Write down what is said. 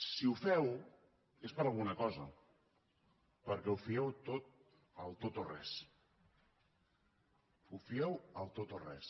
si ho feu és per alguna cosa perquè ho fieu tot al tot o res ho fieu al tot o res